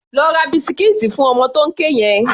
Lọ ra bisikíìtì fún ọmọ tó ń ké yẹn!